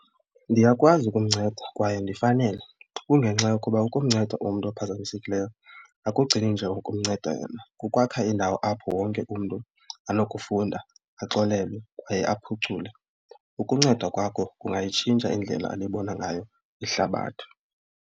Ndiyakwazi ukumnceda kwaye ndifanele kungenxa yokuba ukumnceda umntu ophazamisekileyo akugcini nje ngokumnceda kukwakha indawo apho wonke umntu anokufunda axolele kwaye aphucule. Ukunceda kwakho kungayitshintsha indlela alibona ngayo ihlabathi.